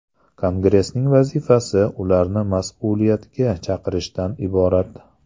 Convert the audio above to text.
Kongressning vazifasi ularni mas’uliyatga chaqirishdan iborat.